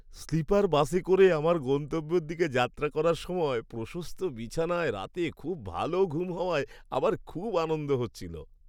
Sleeper বাসে করে আমার গন্তব্যের দিকে যাত্রা করার সময় প্রশস্ত বিছানায় রাতে খুব ভালো ঘুম হওয়ায় আমার খুব আনন্দ হচ্ছিল।